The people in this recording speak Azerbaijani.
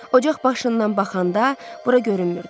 Ocaq başından baxanda bura görünmürdü.